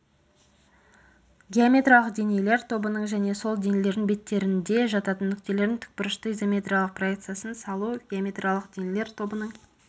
геометриялық денелер тобының және сол денелердің беттерінде жататын нүктелердің тікбұрышты изометриялық проекциясын салу геометриялық денелер тобының